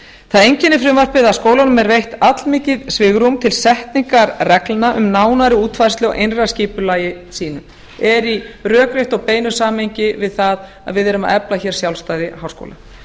það einkennir frumvarpið að skólunum er veitt allmikið svigrúm til setningar reglna um nánari útfærslu á innra skipulagi sínu er í rökréttu og beinu samræmi við það að við erum að efla hér sjálfstæði háskóla